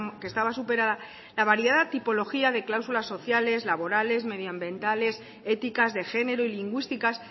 que estaba superada la variedad de tipología de cláusulas sociales laborales medioambientales éticas de género y lingüísticas